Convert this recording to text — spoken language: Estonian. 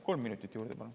Kolm minutit juurde, palun.